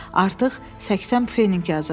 Artıq 80 feninq yazıb.